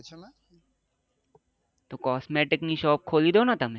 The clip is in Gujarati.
તો cosmetic ની shape ખોલી દો ને તમે